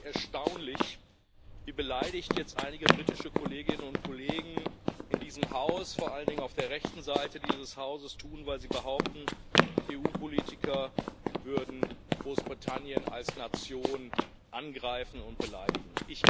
Ist es denn nicht erstaunlich, wie beleidigt jetzt einige britische Kolleginnen und Kollegen in diesem Haus, vor allen Dingen auf der rechten Seite dieses Hauses tun, weil sie behaupten, EU Politiker würden Großbritannien als Nation angreifen und beleidigen?